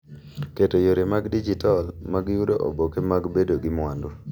Keto yore mag dijital mag yudo oboke mag bedo gi mwandu.